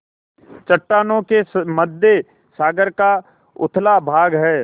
चट्टानों के मध्य सागर का उथला भाग है